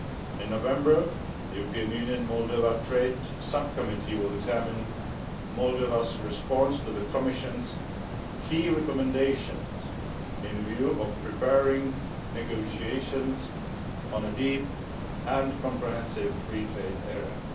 In November, the EU Moldova trade sub committee will examine Moldova's response to the Commission's key recommendations in view of preparing negotiations on a deep and comprehensive free trade area.